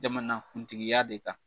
Jamanakuntigiya de kan.